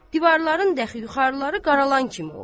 Divarların daxı yuxarıları qaralan kimi olub.